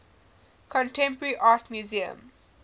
contemporary art museum